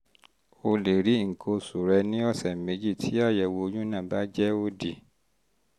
um o lè rí nǹkan oṣù rẹ ní ọ̀sẹ̀ méjì tí àyẹ̀wò oyún náà bá jẹ́ òdì